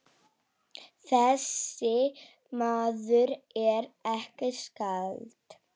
Þessi maður er ekki skáld.